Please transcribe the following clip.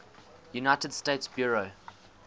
united states bureau